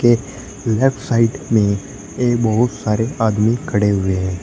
Left side में ये बहोत सारे आदमी खड़े हुए हैं।